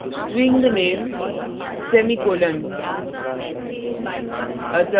string name semicolon